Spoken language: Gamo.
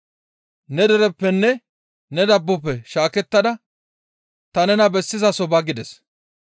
‹Ne dereppenne ne dabbofe shaakettada ta nena bessizaso ba› gides.